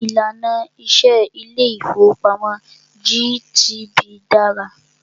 Ìlànà iṣẹ ilé ìfọwọ́pamo GTB dára.